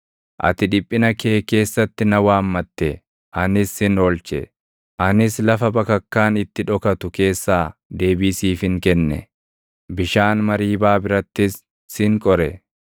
Ati dhiphina kee keessatti na waammatte; anis sin oolche; anis lafa bakakkaan itti dhokatu keessaa deebii siifin kenne; bishaan Mariibaa birattis sin qore.